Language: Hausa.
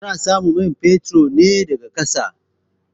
Ana samun man fetur na a ƙasa.